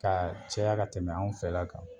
Ka caya ka tɛmɛ anw fɛla kan